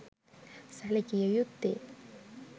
සැලකිය යුත්තේ